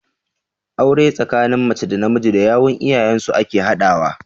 Aure tsakanin mace da namiji da yawun iyayen su ake haɗawa.